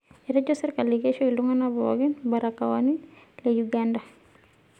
Etejo sirkali keisho iltungana pookin mbarakoani le Uganda.